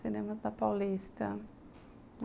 Cinemas da Paulista.